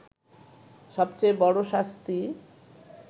সবচেয়ে বড় শাস্তি